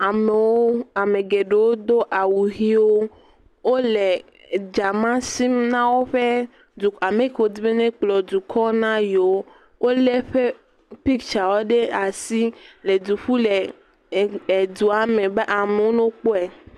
Amewo ame geɖewo do awu ʋiwo. Wo le edzama sim na woƒe du ame kee wodi be nekplɔ dukɔ na yewo. Wole eƒe pitsawo ɖe asi le du ƒum le e edua me be amewo no kpɔe.